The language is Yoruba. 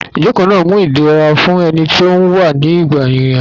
Ìjókòó náà mú idẹra fún ẹni tí ó ń wà nígbà ìrìn àjò